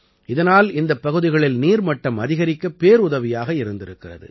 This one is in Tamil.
இதனால் இந்தப் பகுதிகளில் நீர்மட்டம் அதிகரிக்க பேருதவியாக இருந்திருக்கிறது